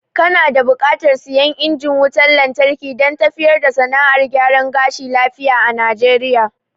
Kana da buƙatar siyan injin wutan lantarki dan tafiyar da sana'ar gyaran gashi lafiya a najeriya